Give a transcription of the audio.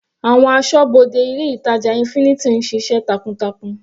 Àwọn asọ́bodè ilé ìtàjà infinity ń ṣiṣẹ́ takuntakun.